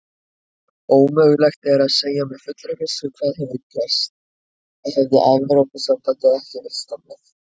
Ómögulegt er að segja með fullri vissu hvað hefði gerst hefði Evrópusambandið ekki verið stofnað.